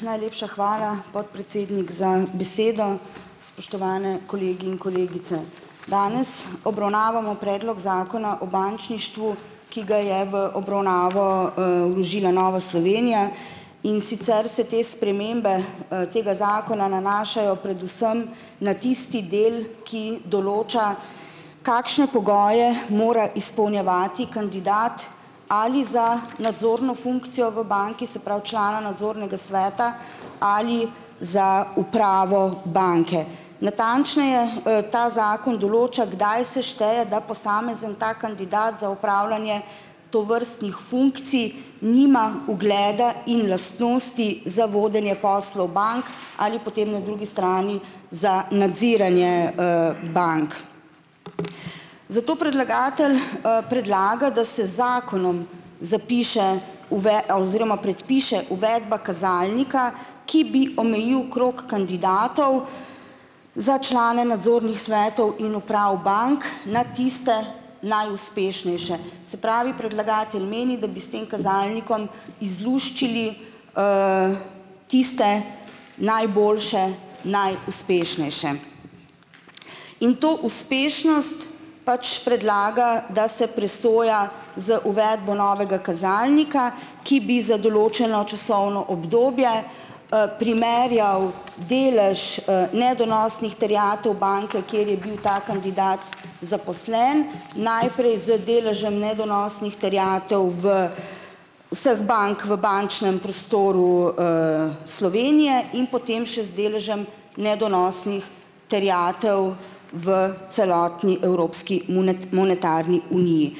Najlepša hvala, podpredsednik, za besedo. Spoštovane kolegi in kolegice! Danes obravnavamo Predlog Zakona o bančništvu, ki ga je v obravnavo, vložila Nova Slovenija, in sicer se te spremembe, tega zakona nanašajo predvsem na tisti del, ki določa, kakšne pogoje mora izpolnjevati kandidat ali za nadzorno funkcijo v banki, se pravi, člana nadzornega sveta ali za upravo banke. Natančneje, ta zakon določa, kdaj se šteje, da posamezni ta kandidat za upravljanje tovrstnih funkcij nima ugleda in lastnosti za vodenje poslov bank ali potem na drugi strani za nadziranje, bank. Zato predlagatelj, predlaga, da se zakonom zapiše oziroma predpiše uvedba kazalnika, ki bi omejil krog kandidatov za člane nadzornih svetov in uprav bank na tiste najuspešnejše. Se pravi, predlagatelj meni, da bi s tem kazalnikom izluščili tiste najboljše, najuspešnejše. In to uspešnost pač predlagam, da se presoja za uvedbo novega kazalnika, ki bi z določeno časovno obdobje, primerjal delež, nedonosnih terjatev banke, kjer je bil ta kandidat zaposlen, najprej z delžem nedonosnih terjatev v vseh bank v bančnem prostoru, Slovenje in potem še z deležem nedonosnih terjatev v celotni evropski monetarni uniji.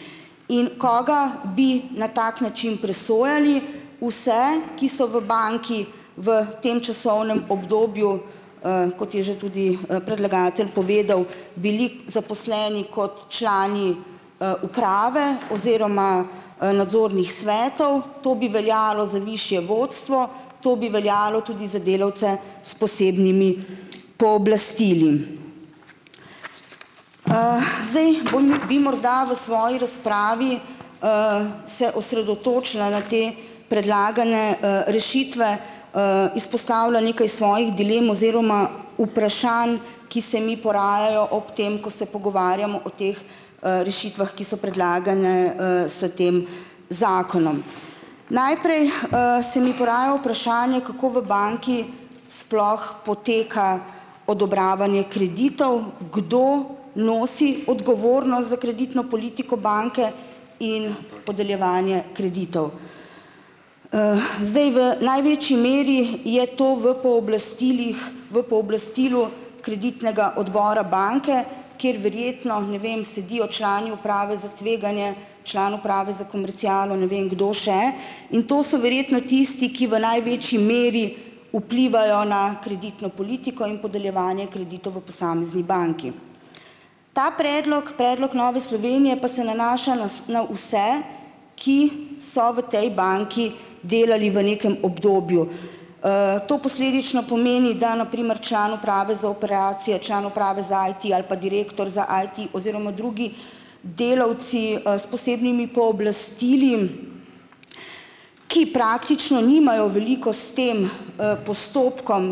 In koga bi na tak način presojali? Vse, ki so v banki v tem časovnem obdobju, kot je že tudi, predlagatelj povedal, bili zaposleni kot člani, uprave oziroma svetov. To bi veljalo za višje vodstvo, to bi veljalo tudi za delavce s posebnimi pooblastili. Zdaj bom bi morda v svoji razpravi se osredotočila na te predlagane, rešitve, izpostavila nekaj svojih dilem oziroma vprašanj, ki se mi porajajo ob tem, ko se pogovarjamo o teh, rešitvah, ki so predlagane, s tem zakonom. Najprej, se mi poraja vprašanje, kako v banki sploh poteka odobravanje kreditov? Kdo nosi odgovornost za kreditno politiko banke in podeljevanje kreditov? Zdaj v največji meri je to v pooblastilih v pooblastilu kreditnega odbora banke, kjer verjetno, ne vem, sedijo člani uprave za tveganje, član uprave za komercialo, ne vem, kdo še, in to so verjetno tisti, ki v največji meri vplivajo na kreditno politiko in podeljevanje kreditov v posamezni banki. Ta predlog, predlog Nove Slovenje, pa se nanaša na na vse, ki so v tej banki delali v nekem obdobju. To posledično pomeni, da na primer član uprave za operacije, član uprave za IT ali pa direktor za IT oziroma drugi delavci, s posebnimi pooblastili, ki praktično nimajo veliko s tem, postopkom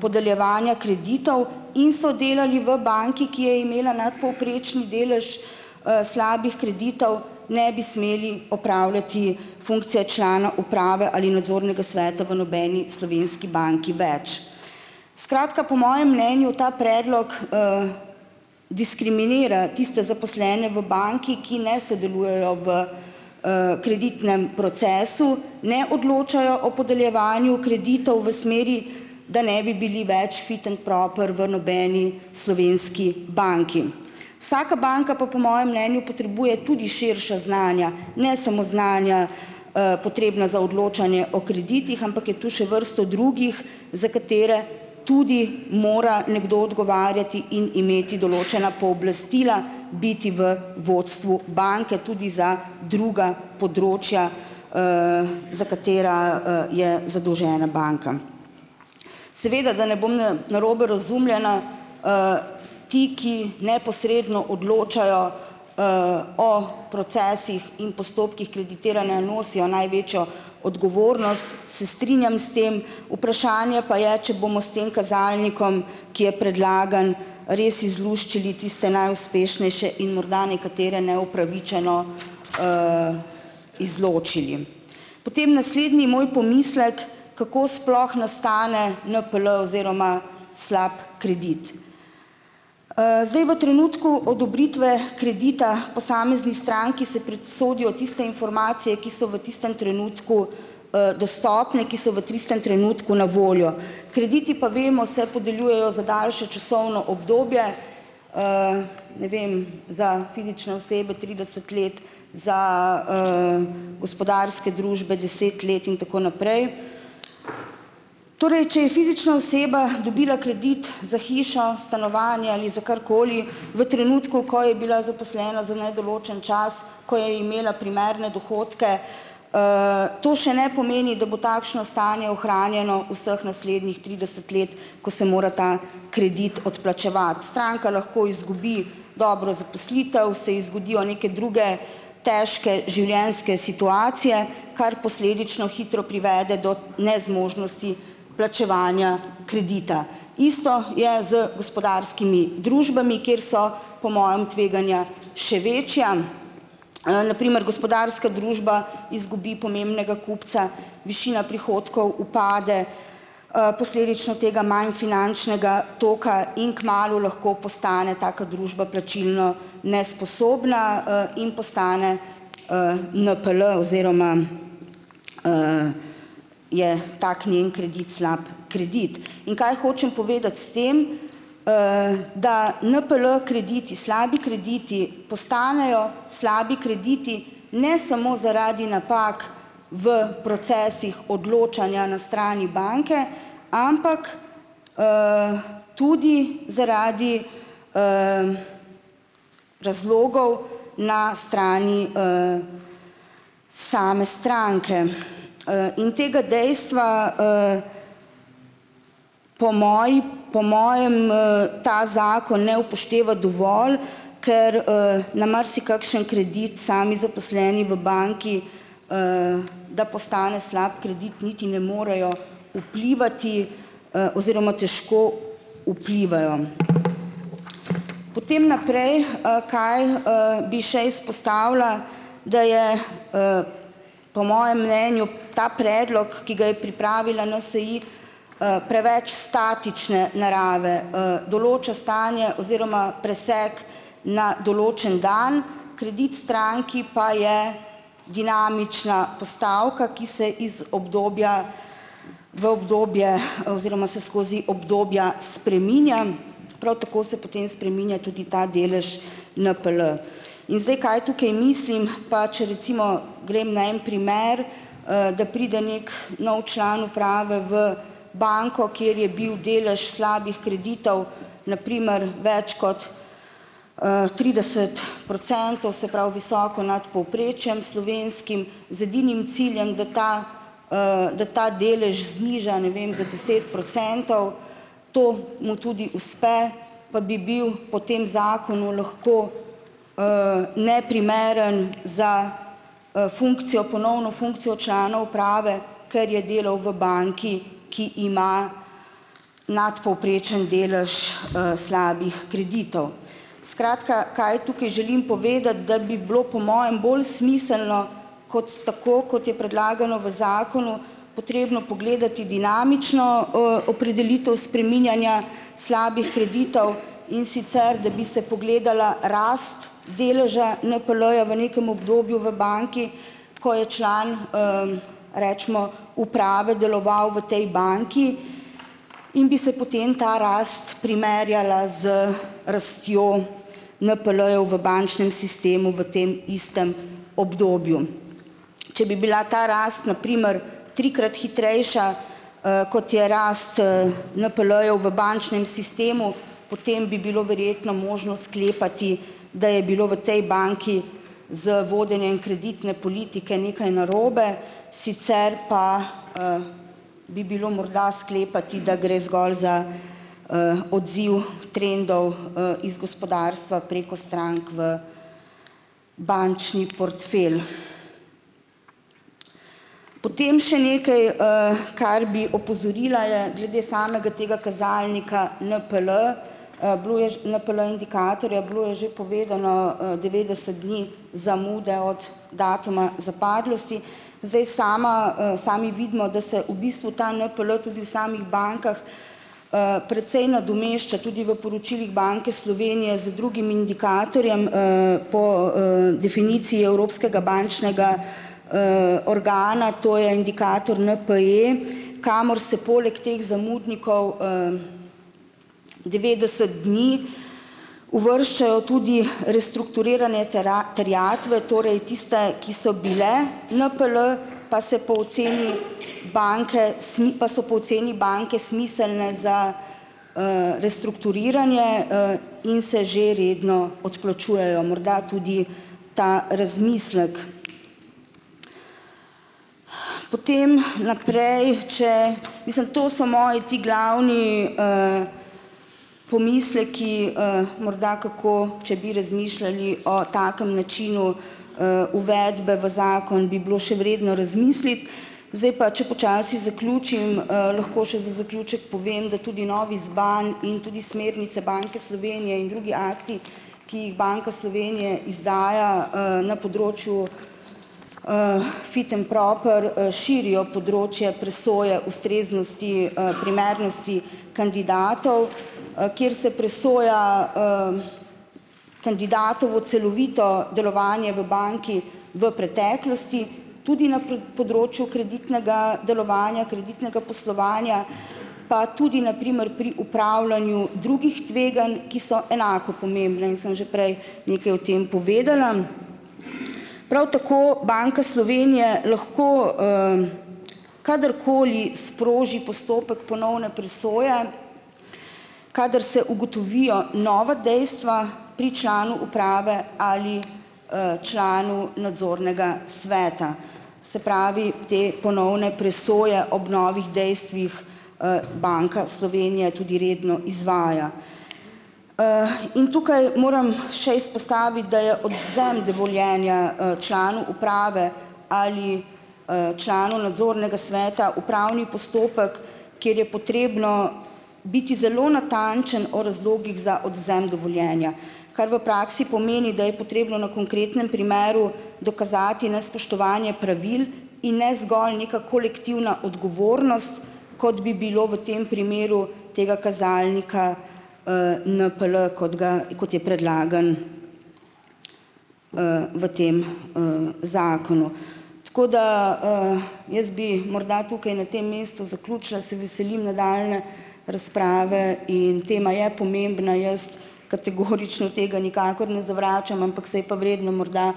podeljevanja kreditov in so delali v banki, ki je imela nadpovprečni delež, slabih kreditov ne bi smeli opravljati funkcije člana uprave ali nadzornega sveta v nobeni banki več. Skratka, po mojem mnenju ta predlog, diskriminira tiste zaposlene v banki, ki ne sodelujejo v, kreditnem procesu, ne odločajo o podeljevanju kreditov v smeri, da ne bi bili več fit and proper v nobeni slovenski banki. Vsaka banka pa, po mojem mnenju, potrebuje tudi širša znanja, ne smo znanja, potrebna za odločanje o kreditih, ampak je tu še vrsto drugih, za katere tudi mora nekdo odgovarjati in imeti določena pooblastila, biti v vodstvu banke tudi za druga področja, za katera, je zadolžena banka. Seveda da ne bom narobe razumljena, ti, ki neposredno odločajo o procesih in postopkih, nosijo največjo odgovornost , se strinjam s tem. Vprašanje pa je, če bomo s tem kazalnikom, ki je predlagan, res izluščili tiste najuspešnejše in morda nekatere neupravičeno izločili. Potem naslednji moj pomislek, kako sploh nastane NPL oziroma slab kredit. Zdaj, v trenutku odobritve kredita posamezni stranki se tiste informacije, ki so v tistem trenutku, dostopne, ki so v tistem trenutku na voljo. Krediti, pa vemo, se podeljujejo za daljše časovno obdobje. Ne vem, za fizične osebe trideset let, za, gospodarske družbe deset let in tako naprej. Torej, če je fizična oseba dobila kredit za hišo, stanovanje ali za karkoli v trenutku, ko je bila zaposlena za nedoločen čas, ko je imela primerna dohodke, to še ne pomeni, da bo takšno stanje ohranjeno vseh naslednjih trideset let, ko se mora ta kredit odplačevati, stranka lahko izgubi dobro zaposlitev, se ji zgodijo neke druge težke življenjske situacije, kar posledično hitro privede do nezmožnosti plačevanja kredita. Isto je z gospodarskimi družbami, kjer so, po mojem, tveganja še večja. Na primer, gospodarska družba izgubi pomembnega kupca, višina prihodkov upade, posledično tega manj finančnega toka in kmalu lahko postane taka družba plačilno nesposobna, in postane, NPL oziroma je tako njen kredit slab kredit. In kaj hočem povedati s tem. Da NPL-krediti, slabi krediti postanejo slabi krediti ne smo zaradi napak v procesih odločanja na strani banke, ampak tudi zaradi razlogov na strani, same stranke. In tega dejstva, po moji po mojem, ta zakon ne upošteva dovolj, ker, na marsikakšen kredit sami zaposleni v banki, da postane slab kredit niti ne morejo vplivati, oziroma težko vplivajo. Potem naprej, kaj, bi še izpostavila. Da je po mojem mnenju ta predlog, ki ga je pripravila NSi, preveč statične narave, določa stanje oziroma presek na določen dan. Kredit stranki pa je dinamična postavka, ki se iz obdobja v obdobje, oziroma se skozi obdobja spreminja prav tako se potem spreminja tudi ta delež NPL. Kaj tukaj mislim, pa če recimo grem na en primer, da pride neki nov član uprave v banko, kjer je bil delež slabih kreditov na primer več kot, trideset procentov, se pravi, visoko nad povprečjem slovenskim z edinim ciljem, da ta, da ta delež zniža, ne vem, za deset procentov, to mu tudi uspe, pa bi bil po tem zakonu lahko neprimeren za, funkcijo ponovno funkcijo članov uprave, ker je delal v banki, ki ima nadpovprečen delež, slabih kreditov. Skratka, kaj tukaj želim povedati, da bi bilo po mojem bolj smiselno, kot tako, kot je predlagano v zakonu, potrebno pogledati dinamično, opredelitev spreminjanja slabih kreditov, in sicer, da bi se pogledala rast deleža NPL-ja v nekem obdobju v banki, ko je član recimo uprave deloval v tej banki, in bi se potem ta rast primerjala z rastjo NPL-ju v bančnem sistemu v tem istem obdobju. Če bi bila ta rast na primer trikrat hitrejša, kot je rast, NPL-ju v bančnem sistemu, potem bi bilo verjetno možno sklepati, da je bilo v tej banki z vodenjem kreditne politike nekaj narobe sicer pa bi bilo morda sklepati, da gre zgolj za odziv trendov, iz gospodarstva preko strank v bančni portfelj. Potem še nekaj, kar bi opozorila, je glede samega tega kazalnika NPL, bilo je NPL-indikatorja, bilo je že povedano, devetdeset dni zamude od datuma zapadlosti. Zdaj, sama, sami vidimo, da se v bistvu ta NPL tudi v samih bankah, precej nadomešča tudi v poročilih Banke Slovenije z drugim indikatorjem, po, definiciji evropskega bančnega organa, to je indikator NPE, kamor se poleg teh zamudnikov, devetdeset dni, uvrščajo tudi restrukturiranje terjatev, torej tiste, ki so bile NPL, pa se po oceni banke pa so po oceni banke smiselne za, restrukturiranje, in se že redno odplačujejo, morda tudi ta razmislek. Po tem naprej, če mislim, to so moji ti glavni, pomisleki, morda kako, če bi razmišljali o takem načinu, uvedbe v zakon bi bilo še vredno razmisliti. Zdaj pa, če počasi zaključim, lahko še za zaključek povem, da tudi novi ZBAN in tudi smernice Banke Slovenje in drugi akti, ki jih Banka Slovenje izdaja, na področju fit and proper, širijo področje presoje ustreznosti, primernosti kandidatov, kjer se presoja kandidatovo celovito delovanje v banki v preteklosti tudi na področju kreditnega delovanja, kreditnega poslovanja, pa tudi na primer pri upravljanju drugih tveganj, ki so enako pomembne in sem že prej nekaj o tem povedala. Prav tako Banka Slovenje lahko kadarkoli sproži postopek ponovne presoje, kadar se ugotovijo nova dejstva pri članu uprave ali, članu nadzornega sveta, se pravi te ponovne presoje ob novih dejstvih, Banka Slovenje tudi redno izvaja. In tukaj moram še izpostaviti, da je odvzem dovoljenja, članu uprave ali, članu nadzornega sveta upravni postopek, kjer je potrebno biti zelo natančen o razlogih za odvzem dovoljenja, kar v praksi pomeni, da je potrebno na konkretnem primeru dokazati nespoštovanje pravil in ne zgolj neka kolektivna odgovornost, kot bi bilo v tem primeru tega kazalnika, NPL, kot ga kot je predlagan, v tem, zakonu. Tako da, jaz bi morda tukaj na tem mestu zaključila, se veselim nadaljnje razprave in tema je pomembna, jaz tega nikakor ne zavračam, ampak se je pa vredno morda,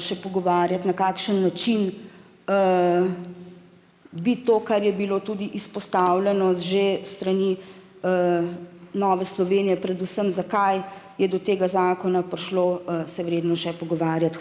še pogovarjati na kakšen način bi to, kar je bilo tudi izpostavljeno z že strani Nove Slovenje, predvsem zakaj je do tega zakona prišlo, se vredno še pogovarjati.